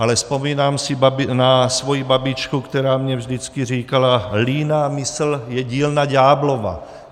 Ale vzpomínám si na svoji babičku, která mi vždycky říkala líná mysl je dílna ďáblova.